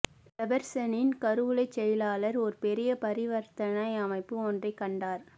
ஜெபர்சனின் கருவூலச் செயலாளர் ஒரு பெரிய பரிவர்த்தனை அமைப்பு ஒன்றைக் கண்டார்